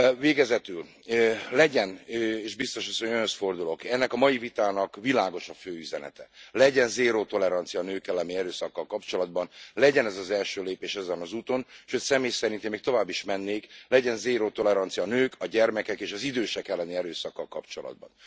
Végezetül legyen és Biztos Asszony, Önhöz fordulok ennek a mai vitának világos a fő üzenete legyen zéró tolerancia a nők elleni erőszakkal kapcsolatban, legyen ez az első lépés ezen az úton, és hogy személy szerint én még tovább is mennék, legyen zéró tolerancia a nők, a gyermekek és az idősek elleni erőszakkal kapcsolatban.